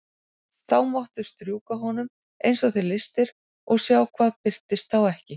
Þá máttu strjúka honum eins og þig lystir og sjá hvað birtist þá ekki.